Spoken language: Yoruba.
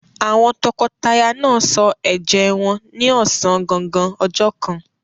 Àwọn tọkọtaya náà sọ ẹ̀jẹ́ wọn ní ọ̀sán gangan ọjọ́ kan.